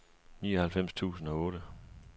nioghalvfems tusind og otte